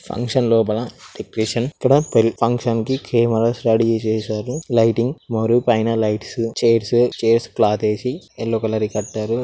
Function లోన education కూడా తెలి ఫంక్షన్ కి కెమేరా స్టడీ చెసారు. లైటింగ్ మూడు పైన లైట్స్ చైర్స్ చైర్స్ క్లోత్ వేసి యెల్లో కలర్ వి కట్టారు.